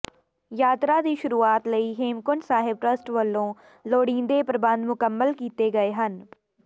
ਯਾਤਰਾ ਦੀ ਸ਼ੁਰੂਆਤ ਲਈ ਹੇਮਕੁੰਟ ਸਾਹਿਬ ਟਰਸੱਟ ਵਲੋਂ ਲੋੜੀਂਦੇ ਪ੍ਰਬੰਧ ਮੁਕੰਮਲ ਕੀਤੇ ਗਏ ਹਨ